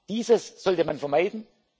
Jahr. Dieses sollte man